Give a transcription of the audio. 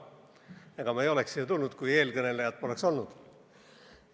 Ega ma ei oleks siia pulti tulnud, kui eelkõnelejat poleks olnud.